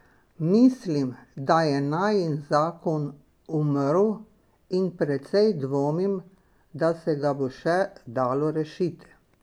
Mislim, da je najin zakon umrl, in precej dvomim, da se ga bo še dalo rešiti.